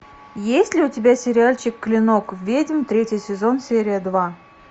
есть ли у тебя сериальчик клинок ведьм третий сезон серия два